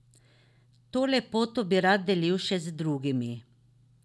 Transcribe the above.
To lepoto bi rad delil še z drugimi.